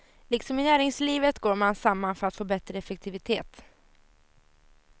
Liksom i näringslivet går man samman för att få bättre effektivitet.